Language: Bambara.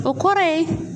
O kɔrɔ ye